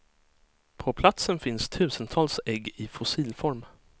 På platsen finns tusentals ägg i fossilform.